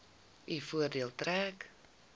u voordeel trek